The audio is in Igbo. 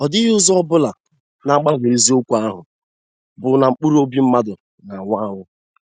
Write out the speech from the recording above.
Ọdịghị ụzọ ọ bụla na-agbanwe eziokwu ahụ bụ na mkpụrụ obi mmadụ na-anwụ anwụ.